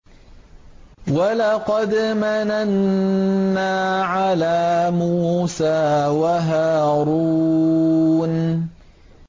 وَلَقَدْ مَنَنَّا عَلَىٰ مُوسَىٰ وَهَارُونَ